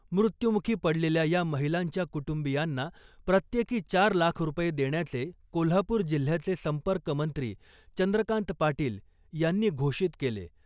मृत्यमुखी पडलेल्या या महिलांच्या कुटुंबियांना प्रत्येकी चार लाख रुपये देण्याचे कोल्हापुर जिल्ह्याचे संपर्कमंत्री चंद्रकांत पाटील यांनी घोषित केले .